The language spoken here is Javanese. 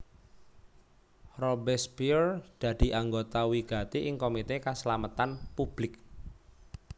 Robespierre dadi anggota wigati ing Komité Kaslametan Public